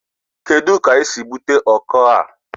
Kedu ka I si bute ọkọ a?